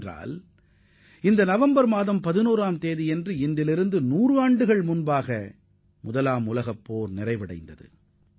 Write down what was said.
ஏனெனில் நூறு ஆண்டுகளுக்கு முன்பு நவம்பர் 11 அன்றுதான் முதல் உலகப் போர் முடிவடைந்தது